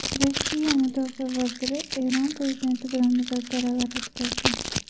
Rossiya Mudofaa vaziri Eron prezidenti bilan muzokaralar o‘tkazdi.